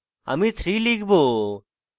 আমি 3 লিখব